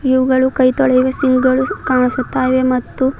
ಇವುಗಳು ಕೈ ತೊಳೆಯುವ ಸಿಂಕ್ಗಳೆಂದು ಕಾಣಿಸುತ್ತಾ ಇವೆ ಮತ್ತು--